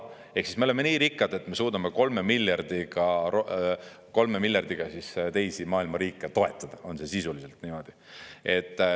Ehk siis me oleme nii rikkad, et me suudame 3 miljardiga teisi maailma riike toetada, see on sisuliselt niimoodi.